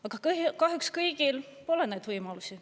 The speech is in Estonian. Aga kahjuks kõigil pole neid võimalusi.